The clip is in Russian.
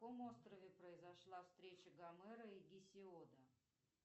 на каком острове произошла встреча гомера и гесиода